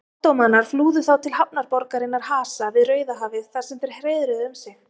Ottómanar flúðu þá til hafnarborgarinnar Hasa við Rauðahafið þar sem þeir hreiðruðu um sig.